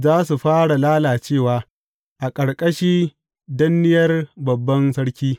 Za su fara lalacewa a ƙarƙashi danniyar babban sarki.